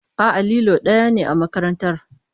A'a, lilo ɗaya ne a makarantar.